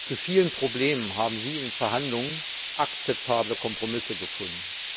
Zu vielen Problemen haben Sie in den Verhandlungen akzeptable Kompromisse gefunden.